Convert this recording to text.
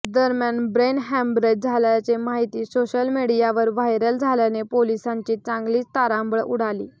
दरम्यान brain haemorrhage झाल्याचे माहिती सोशल मीडियावर व्हायरल झाल्याने पोलिसांची चांगलीच तारांबळ उडाली